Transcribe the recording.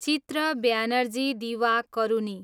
चित्र बनर्जी दिवाकरुनी